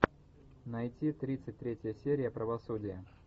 найти тридцать третья серия правосудие